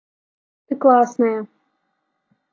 ты классная